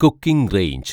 cooking range